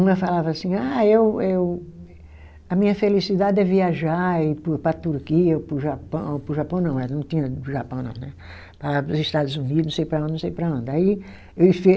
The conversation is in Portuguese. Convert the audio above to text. Uma falava assim, ah eu eu a minha felicidade é viajar é ir para o para a Turquia ou para o Japão, para o Japão não, ela não tinha o Japão não né, para os Estados Unidos, não sei para onde, não sei para onde, aí ele fez.